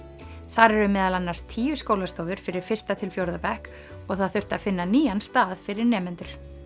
þar eru meðal annars tíu skólastofur fyrir fyrsta til fjórða bekk og það þurfti að finna nýjan stað fyrir nemendur